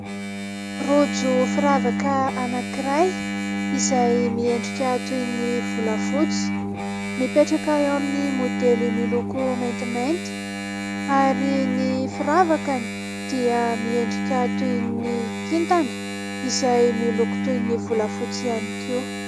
Rojo firavaka anankiray izay miendrika toy ny volafotsy, mipetraka eo amin'ny maodely miloko maintimainty ary ny firavakany dia miendrika toy ny kintana izay miloko toy ny volafotsy ihany koa.